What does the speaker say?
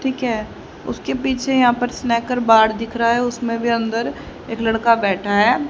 ठीक है उसके पीछे यहाँ पर स्नैकर बार दिख रहा है उसमें अंदर एक लड़का बैठा है।